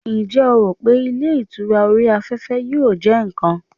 njé o ro pe ilé ìtura ori afefe yíò je nkan